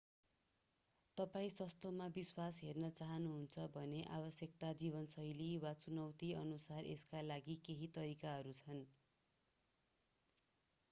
तपाईं सस्तोमा विश्व हेर्न चाहानुहुन्छ भने आवश्यकता जीवनशैली वा चुनौतीअनुसार यसका लागि केही तरिकाहरू छन्